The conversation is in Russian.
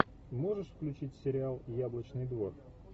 можешь включить сериал яблочный двор